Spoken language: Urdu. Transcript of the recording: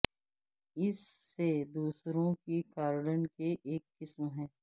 اس سے دوسروں کی گارڈین کی ایک قسم ہے